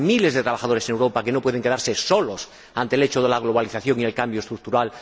Hay miles de trabajadores en Europa que no pueden quedarse solos ante el hecho de la globalización y el cambio estructural.